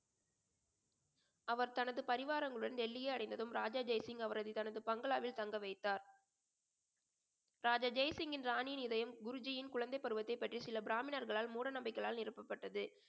அவர் தனது பரிவாரங்களுடன் டெல்லியை அடைந்ததும் ராஜா ஜெய்சிங் அவரது தனது பங்களாவில் தங்க வைத்தார் ராஜா ஜெயசிங்கின் ராணியின் இதயம் குருஜியின் குழந்தை பருவத்தை பற்றி சில பிராமிணர்களால் மூட நம்பிக்கைகளால் நிரப்பப்பட்டது